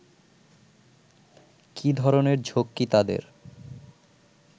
কী ধরনের ঝক্কি তাদের